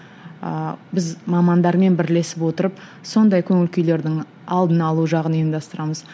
ыыы біз мамандармен бірлесіп отырып сондай көңіл күйлердің алдын алу жағын ұйымдастырамыз